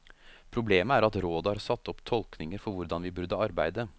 Problemet er at rådet har satt opp tolkninger for hvordan vi burde arbeide.